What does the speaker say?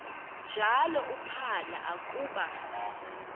njalo uphalo akuba